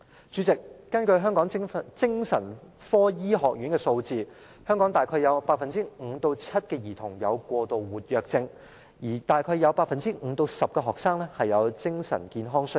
主席，根據香港精神科醫學院的數字，香港大約有 5% 至 7% 兒童有過度活躍症，大約有 5% 至 10% 學生有精神健康需要。